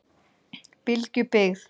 Bylgjubyggð